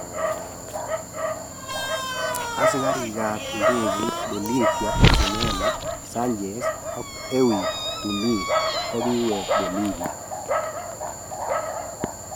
asigariik ap indegeit Bolivia Ximena Sanchez ag Erwin Tumiri kogiweg Bolivia